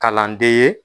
Kalande ye